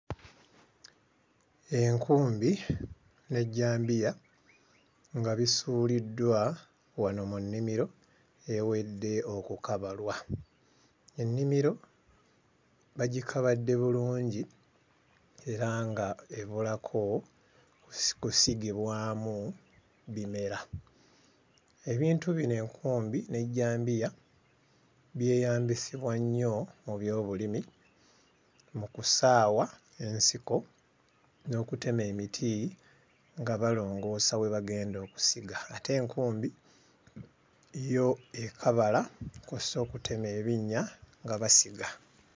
Enkumbi n'ejjambiya nga bisuuliddwa wano mu nnimiro eyawedde okukabalwa. Ennimiro bagikabadde bulungi era ng'ebulako kusigibwamu bimera. Ebintu bino enkumbi n'ejjambiya byeyambisibwa nnyo mu byobulimi mu kusaawa ensiko n'okutema emiti nga balongoosa we bagenda okusiga ate enkumbi yo ekabala kw'ossa okutema ebinnya nga basiga.